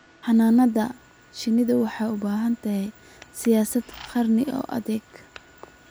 Xannaanada shinnidu waxay u baahan tahay siyaasad qaran oo adag.